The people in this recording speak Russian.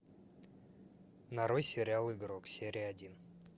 нарой сериал игрок серия один